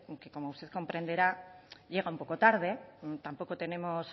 que como usted comprenderá llega un poco tarde tampoco tenemos